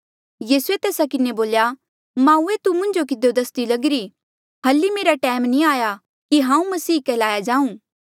यीसूए तेस्सा किन्हें बोल्या माऊए तू मुंजो किधियो दसदी लगिरी हल्ली मेरा टैम नी आया कि हांऊँ मसीहा कहलाया जाऊँ